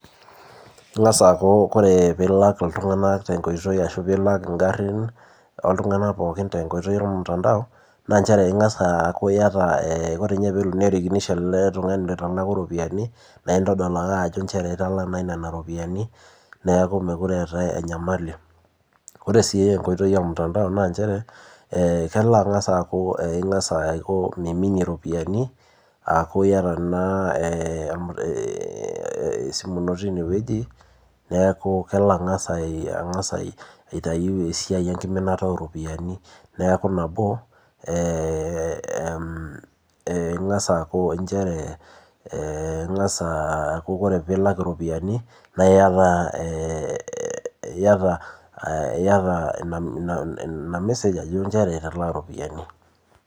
Kang'as aaku kore pee ilak iltunganak te nkoitoi ashu pee ilak igarin, ooltunganak pookin tenkoitoi olmutandao naa nchere ingas, aaku iyata ore pee erikinisho ele tungani oitalaku iropiyiani neeku meekure eetae enyamali. ore sii enkoitoi emutandao. naa nchere kelo angas aaku, ingas, Aiko miminie ropiyiani aaku iyata naa esimu ino tine wueji neeku kalo angas aitayu esiai enkiminta ooropiyiani. neeku, nabo, ingas aaku nchere ore pee ilak iropiyiani iyata Ina message ajo nchere italaa iropiyiani.